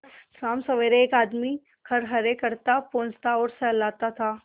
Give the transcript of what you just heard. शामसबेरे एक आदमी खरहरे करता पोंछता और सहलाता था